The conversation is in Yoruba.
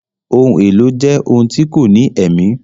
Ohun èlò jẹ ohun tí kò ní èmí